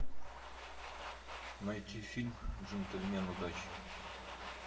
найти фильм джентльмен удачи